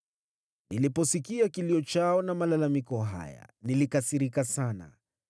Niliposikia kilio chao na malalamiko haya, nilikasirika sana.